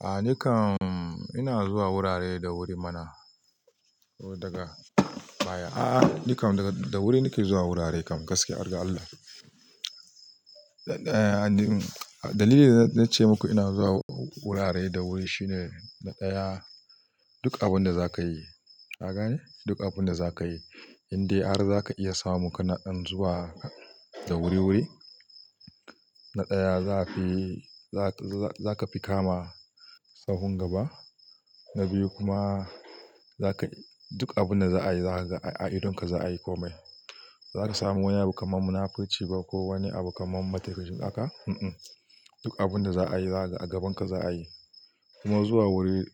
A ni kam ina zuwa wurare da wuri mana daga baya. A ni kam daga da wuri nake zuwa wurare kam gaskiya, har ga Allah. Na ɗaya, dalilin da zai ce maku ina zuwa wurare da wuri shine na ɗaya duk abun da za ka yi, kaga ne? Duk abun da za ka yi, inde har za ka iya samu kana ɗan zuwa da wuri-wuri, na ɗaya zaka fi, zaka fi kama sahun gaba. Na biyu kuma za kai duk abun da za a yi a idonka za a yi komai. Za ka samu wani abu kamar munafurci ba ko wani abu kamar maka mancin haka? Duk abun da za a yi a gabanka za a yi. Kuma zuwa wuri,